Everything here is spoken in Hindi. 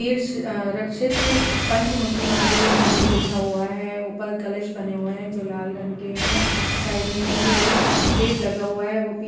इरस अ रछीत पंच मुखी महादेव मंदिर लिखा हुआ है ऊपर कलश बने हुए है जो लाल रंग के हैं साइड में भी एक गेट लगा हुआ है वो पि --